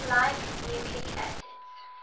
unlike nucleic acids